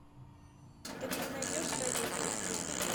ты мне найдешь тройной перехват